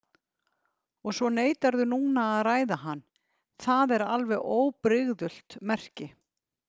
Og svo neitarðu núna að ræða hann, það er alveg óbrigðult merki.